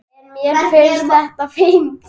En mér finnst þetta fínt.